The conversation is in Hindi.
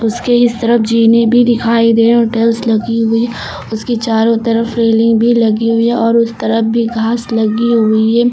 उसके इस तरफ जीने भी दिखाई दे रही हैं टाइल्स लगी हुई उसकी चारों तरफ रेलिंग भी लगी हुई है और उस तरफ भी घास लगी हुई है।